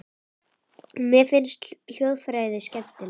Mér finnst hljóðfræði skemmtileg.